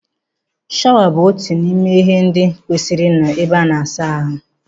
Shawa bụ otu n'ime ihe ndị kwesịrị ịnọ n'ebe ana asa ahụ